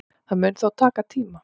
Það mun þó taka tíma